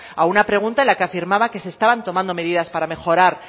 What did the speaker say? a una pregunta en la que afirmaba que se estaban tomando medidas para mejorar